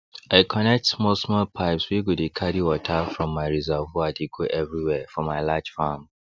i connect small small pipes wey go dey carry water from my reservoir dey go every where for my large farm